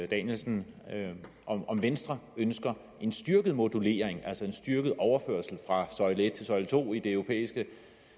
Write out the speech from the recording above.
danielsen om om venstre ønsker en styrket modulering altså en styrket overførsel fra søjle en til søjle to i den europæiske